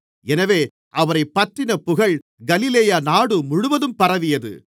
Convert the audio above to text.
எனவே அவரைப்பற்றின புகழ் கலிலேயா நாடு முழுவதும் பரவியது